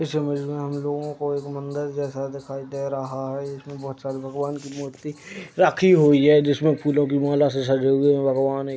इस इमेज में हम लोगों को एक मंदिर जैसा दिखाई दे रहा है। इसमें बोहोत सारे भगवान की मूर्ति रखी हुई है जिसमें फूलों की माला से सजे हुए भगवान एक --